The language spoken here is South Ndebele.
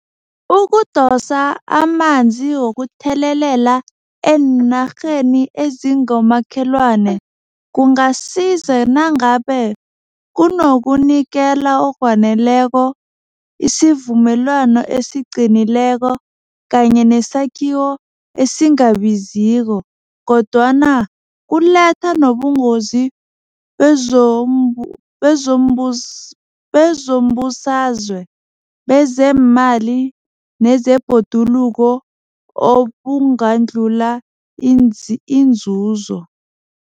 Ukudosa amanzi wokuthelelela eenarheni ezingomakholwane kungasiza nangabe kunokunikela okwaneleko isivumelwano esiqinileko kanye nesakhiwo esingabaziko kodwana kuletha nobungozi bezombusazwe, bezeemali nezebhoduluko obungadlula inzuzo.